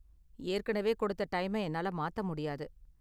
ஏற்கனவே கொடுத்த டைமை என்னால மாத்த முடியாது.